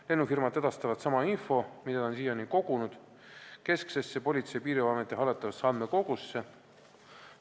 Lennufirmad edastavad sama info, mida nad on siiani kogunud, kesksesse Politsei- ja Piirivalveameti hallatavasse andmekogusse.